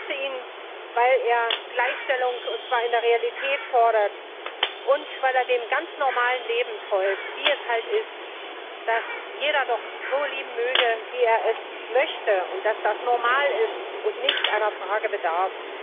Ich unterstütze ihn, weil er Gleichstellung und zwar in der Realität fordert und weil er dem ganz normalen Leben folgt, wie es halt ist, dass jeder doch so leben möge, wie er es möchte, und dass das normal ist und nicht einer Frage bedarf.